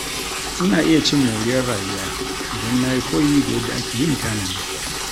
Ina iya cin moriyar rayuwa idan na yi koyi da yadda ake yin tanadi.